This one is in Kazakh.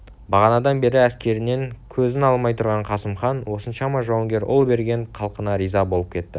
бағанадан бері әскерінен көзін алмай тұрған қасым хан осыншама жауынгер ұл берген халқына риза болып кетті